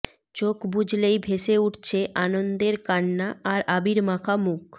চোখ বুজলেই ভেসে উঠছে আনন্দের কান্না আর আবির মাখা মুখ